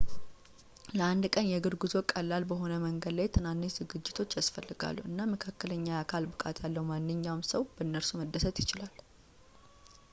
ለአንድ ቀን የእግር ጉዞ ቀላል በሆነ መንገድ ላይ ትናንሽ ዝግጅቶች ያስፈልጋሉ እና መካከለኛ የአካል ብቃት ያለው ማንኛውም ሰው በእነርሱ መደሰት ይችላል